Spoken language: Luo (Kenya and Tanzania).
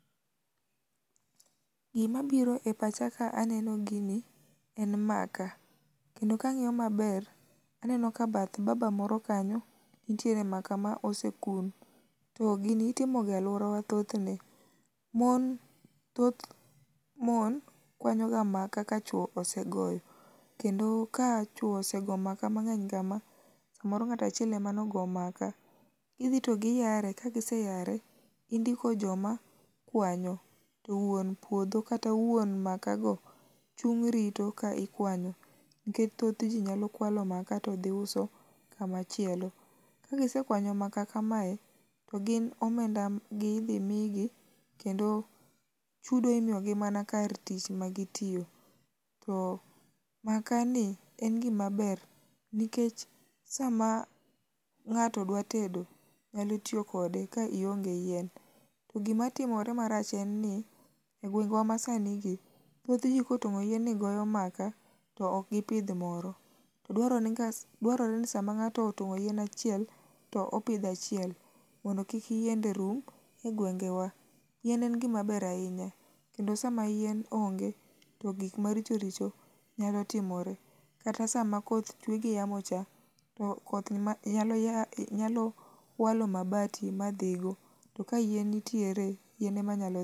Gimabiro e pacha ka aneno gini en maka, kendo kang'iyo maber aneno ka bath baba moro kanyo, nitiere maka ma osekuong',to gini itimoga alworawa thothne. Mon kwanyoga maka ka chuwo osegoyo, kendo ka chuwo osego maka mang'eny kama, samoro ng'ato achiel ema nogo maka. Gidhi to giyare, kagiseyare, indiko joma kwanyo, to wuon puodho kata wuon makago chung' rito ka ikwanyo, nikech thothji nyalo kwalo maka todhi uso kamachielo. Kagisekwanyo maka kamae, to gin omenda gi idhi migi kendo chudo imiyogi mana kar tich magitiyo. To makani en gimaber nikech sama ng'ato dwa tedo, nyalo tiyo kode ka ionge yien ,to gimatimore marach en ni e gwengwa masanigi, thothji kotong'o yien ni goyo maka, to ok gipidh moro. To dwarore ni sama ng'ato otong'o yien achiel to oipidho achiel mondo yien kik rum e gwengewa. Yien en gimaber ahinya kendo sama yien onge, to gik maricho richo nyalo timore. Kata sama koth chwe gi yamocha, to koth nyalo walo mabati ma dhigo. To ka yien nitiere, yien ema nyalo